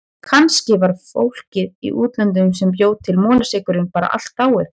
Kannski var fólkið í útlöndunum sem bjó til molasykurinn bara allt dáið.